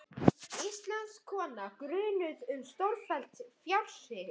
Íslensk kona grunuð um stórfelld fjársvik